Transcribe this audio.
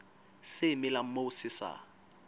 se melang moo se sa